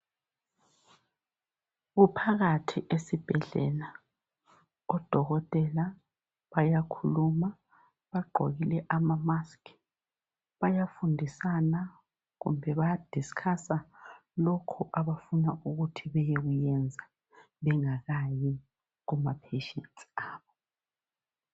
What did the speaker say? Kuphakathi esibhedlela, odokotela bayakhuluma, bagqokile ama masiki Bayafundisana kumbe baya "discuss" lokhu abafuna ukuthi beyekukuyenza bengakayi kuma "patients" abo.